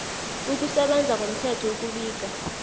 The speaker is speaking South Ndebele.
ukusebenza ngomthetho ukubika